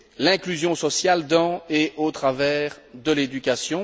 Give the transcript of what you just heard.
l'inclusion sociale dans et au travers de l'éducation.